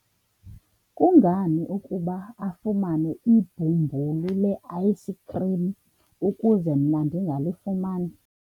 kungani ukuba afumane ibhumbulu le-ayisikhrim ukuze mna ndingalifumani?